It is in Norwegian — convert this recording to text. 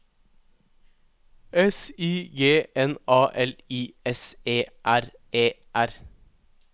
S I G N A L I S E R E R